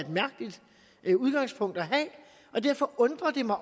et mærkeligt udgangspunkt at have og derfor undrer det mig